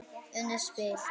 Unnið spil.